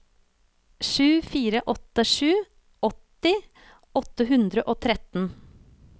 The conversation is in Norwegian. sju fire åtte sju åtti åtte hundre og tretten